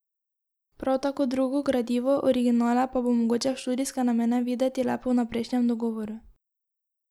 Prav tako drugo gradivo, originale pa bo mogoče v študijske namene videti le po vnaprejšnjem dogovoru.